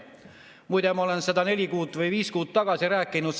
Muide, ma olen seda neli kuud või viis kuud tagasi rääkinud.